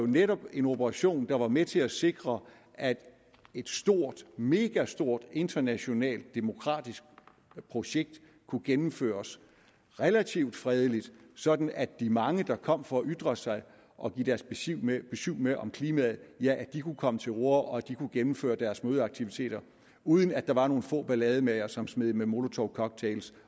netop var en operation der var med til at sikre at et megastort internationalt demokratisk projekt kunne gennemføres relativt fredeligt sådan at de mange der kom for at ytre sig og give deres besyv med med om klimaet kunne komme til orde og gennemføre deres mødeaktiviteter uden at der var nogle få ballademagere som smed med molotovcocktails